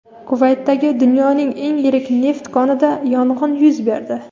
Kuvaytdagi dunyoning eng yirik neft konida yong‘in yuz berdi.